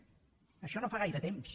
d’això no fa gaire temps